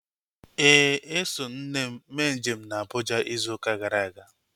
Éè, eso m nne mee njem na Abuja ịzụ ụka gara aga